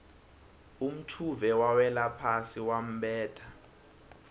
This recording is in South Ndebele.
umtjhuve wawelaphasi wambetha